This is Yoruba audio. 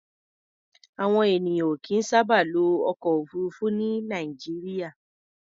Àwọn ènìyàn ò kìí sábà lo ọkọ̀-òfurufú ní Nàìjíríà.